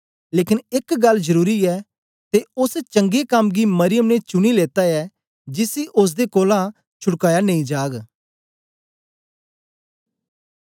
लेकन एक गल्ल जरुरी ऐ ते ओस चंगे कम्म गी मरियम ने चुनी लेत्ता ऐ जिसी ओसदे कोलां छुडकाया नेई जाग